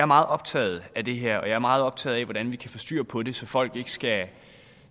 meget optaget af det her og jeg er meget optaget af hvordan vi kan få styr på det så folk ikke skal